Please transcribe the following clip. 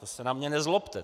To se na mě nezlobte.